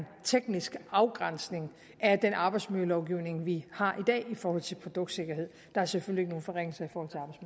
teknisk afgrænsning af den arbejdsmiljølovgivning vi har i dag i forhold til produktsikkerhed der er selvfølgelig ikke nogen forringelser